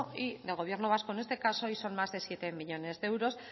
del gobierno vasco en este caso y son más de siete millónes de euros